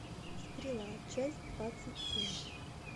стрела часть двадцать семь